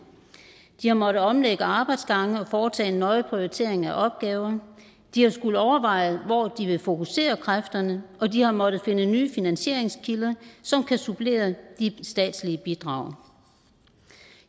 de har måttet omlægge arbejdsgange og foretage en nøje prioritering af opgaver de har skullet overveje hvor de ville fokusere kræfterne og de har måttet finde nye finansieringskilder som kan supplere de statslige bidrag